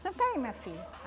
Senta aí, minha filha.